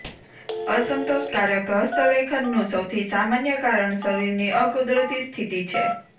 અસંતોષકારક હસ્તલેખનનું સૌથી સામાન્ય કારણ શરીરની અકુદરતી સ્થિતિ છે